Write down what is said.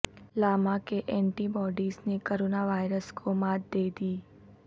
Lama کے antibodies نے coronavirus کو مات دے دی